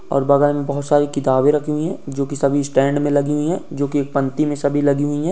और बगल में बहोत सारी किताबें रखी हुई हैं जोकि सभी स्टैंड में लगी हुई हैं जोकि पंक्ति में सभी लगी हुई हैं।